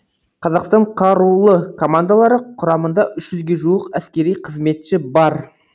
қазақстан қарулы командалары құрамында үш жүзге жуық әскери қызметші бар